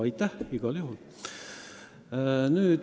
Aitäh igal juhul!